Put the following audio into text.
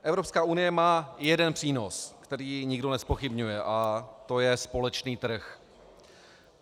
Evropská unie má jeden přínos, který nikdo nezpochybňuje, a to je společný trh.